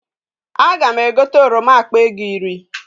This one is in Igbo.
Aga m egote oroma akpa ego iri